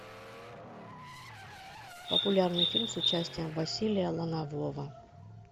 популярный фильм с участием василия ланового